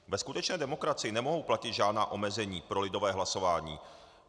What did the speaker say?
Ve skutečné demokracii nemohou platit žádná omezení pro lidové hlasování.